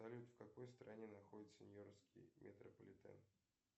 салют в какой стране находится нью йоркский метрополитен